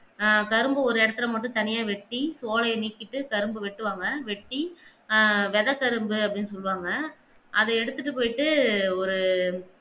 ஆஹ் கரும்ப ஒரு இடத்தில மட்டும் தனியா வெட்டி தோள நீக்கிட்டு கரும்ப வெட்டுவாங்க வெட்டி வெத கரும்பு அப்பிடின்னு சொல்வாங்க அத எடுத்திட்டு போயிட்டு ஒரு